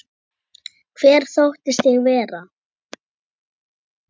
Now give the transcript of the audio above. Hver þóttist ég vera?